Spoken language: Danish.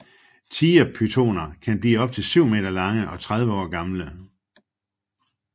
Tigerpythoner kan blive op til 7 meter lange og 30 år gamle